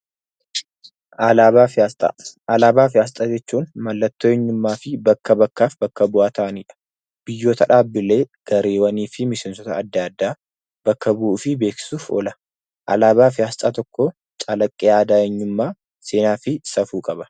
Alaabaa fi asxaan mallattoo eenyummaa fi bakka bu'ee biyya tokkoo ta'anidha. Biyyoota, dhaabbilee fi garee adda addaa bakka bu'uu fi beeksisuuf oola. Alaabaa fi asxaan saba tokkoo calaqqee, seenaa fi safuu qaba.